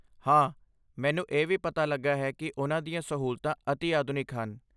ਹਾਂ, ਮੈਨੂੰ ਇਹ ਵੀ ਪਤਾ ਲੱਗਾ ਹੈ ਕੀ ਉਨ੍ਹਾਂ ਦੀਆਂ ਸਹੂਲਤਾਂ ਅਤਿ ਆਧੁਨਿਕ ਹਨ